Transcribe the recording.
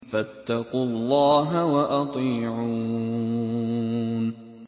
فَاتَّقُوا اللَّهَ وَأَطِيعُونِ